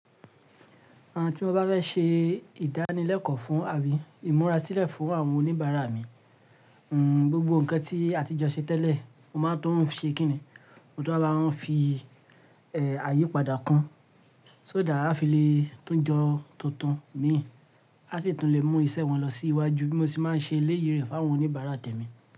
À tí mo bá fẹ́ ṣe ìdánilẹ́kọ̀ọ́ fún àbí ìmúra sílẹ̀ fún àwọn oníbàárà mi, gbogbo nǹkan tí àtijọ́ ṣe tẹ́lẹ̀, mo máa tún ṣe kìnnìún, mo tún wá bá wọn ń fi àyípadà kún. So that á fi lè tún jọ tuntun míì, a sì tún lè mú ìṣe wọn lọ sí iwájú bí mo ṣe máa ń ṣe léyìí rẹ̀ fún àwọn oníbàárà tèmi.